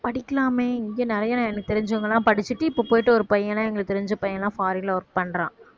படிக்கலாமே இங்க நிறைய எனக்கு தெரிஞ்சவங்கலாம் படிச்சிட்டு இப்ப போயிட்டு ஒரு பையன் எங்களுக்கு தெரிஞ்ச பையன் எல்லாம் foreign ல work பண்றான்